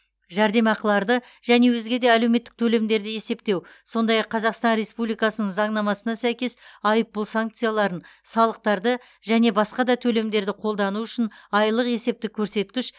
жәрдемақыларды және өзге де әлеуметтік төлемдерді есептеу сондай ақ қазақстан республикасының заңнамасына сәйкес айыппұл санкцияларын салықтарды және басқа да төлемдерді қолдану үшін айлық есептік көрсеткіш